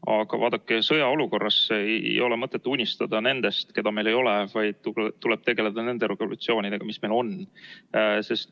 Aga vaadake, sõjaolukorras ei ole mõtet unistada nendest, keda meil ei ole, vaid tuleb tegeleda nende regulatsioonidega, mis meil on.